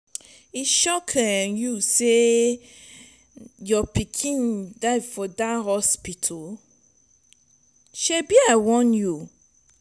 e shock um you say your pikin die for dat hospital shebi i warn you um.